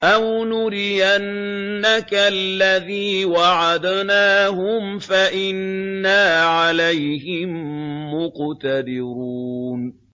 أَوْ نُرِيَنَّكَ الَّذِي وَعَدْنَاهُمْ فَإِنَّا عَلَيْهِم مُّقْتَدِرُونَ